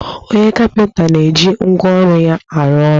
Onye kapịnta na-eji ngwa ọrụ ya arụ ọrọ